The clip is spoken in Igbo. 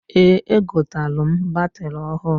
Eeǃ Egotalụ m batịrị ahụ.